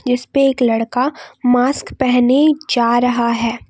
इसपे एक लड़का मास्क पहने जा रहा है।